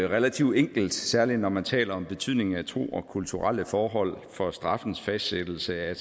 relativt enkelt særlig når man taler om betydningen af tro og kulturelle forhold for straffens fastsættelse at